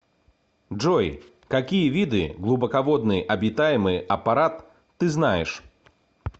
джой какие виды глубоководный обитаемый аппарат ты знаешь